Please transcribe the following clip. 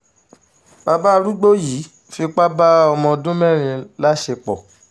bàbá arúgbó yìí fipá bá ọmọ ọdún mẹ́rin láṣepọ̀